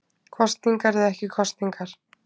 Kosningar eða ekki kosningar